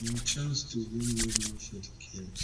im chance to win medal for di games